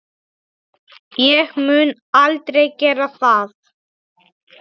Ég mun aldrei gera það.